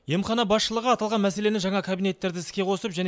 емхана басшылығы аталған мәселені жаңа кабинеттерді іске қосып және